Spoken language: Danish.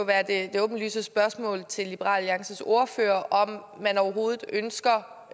det åbenlyse spørgsmål til liberal alliances ordfører om man overhovedet ønsker